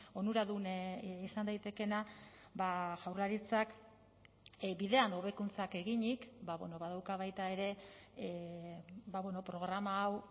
onuradun izan daitekeena jaurlaritzak bidean hobekuntzak eginik badauka baita ere programa hau